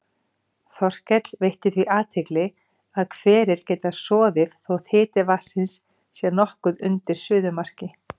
Þorkell veitti því athygli að hverir geta soðið þótt hiti vatnsins sé nokkuð undir suðumarki.